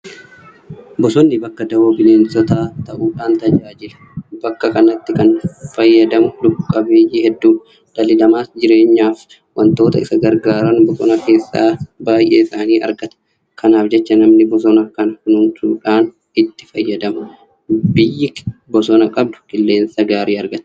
Bosonni bakka dawoo bineensotaa ta'uudhaan tajaajila. Bakka kanatti kan fayyadamu lubbuqabeeyyii hedduudha. Dhalli namaas jireenyaaf waantota isa gargaaran bosona keessaa baay'eesaanii argata. Kanaaf jecha namni bosona kana kunuunsuudhaan itti fayyadama. Biyyi bosona qabdu qilleensa gaarii argatti.